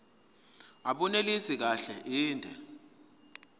abunelisi kahle inde